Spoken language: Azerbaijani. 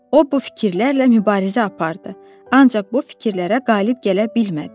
O bu fikirlərlə mübarizə apardı, ancaq bu fikirlərə qalib gələ bilmədi.